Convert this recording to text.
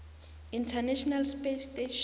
international space station